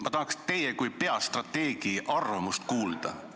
Ma tahaks teie kui peastrateegi arvamust kuulda.